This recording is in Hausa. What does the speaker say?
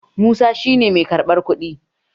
Musa shi ne mai karɓar kuɗi